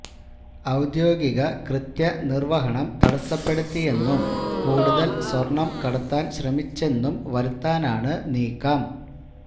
ഔദ്യോഗിക കൃത്യ നിർവ്വഹണം തടസ്സപ്പെടുത്തിയെന്നും കൂടുതൽ സ്വർണം കടത്താൻ ശ്രമിച്ചെന്നും വരുത്താനാണ് നീക്കം